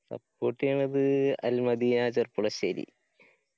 support എയ്യണത് al madiyya Cherpulassery